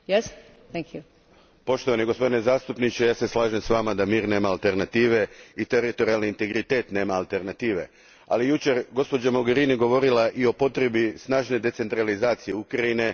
Gospođo predsjednice, poštovani gospodine zastupniče ja se slažem s vama da mir nema alternative i teritorijalni integritet nema alternative, ali je jučer gospođa Mogherini govorila i o potrebi snažne decentralizacije Ukrajine.